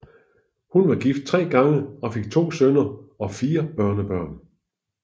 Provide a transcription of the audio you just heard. Hun var gift tre gange og fik to sønner og fire børnebørn